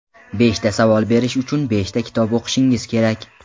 Beshta savol berish uchun beshta kitob o‘qishingiz kerak.